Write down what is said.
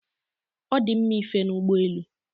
Ọ dị mma ife n'ụgbọ elu.